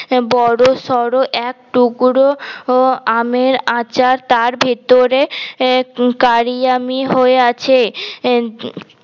বড় শর এক টুকরো আমের আঁচার তার ভিতরে কারিয়ামি হয়ে আছে